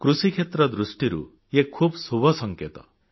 କୃଷିକ୍ଷେତ୍ର ଦୃଷ୍ଟିରୁ ଇଏ ଶୁଭ ସଂକେତ